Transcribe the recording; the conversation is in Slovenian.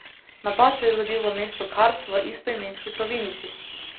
Napad se je zgodil v mestu Kars v istoimenski provinci.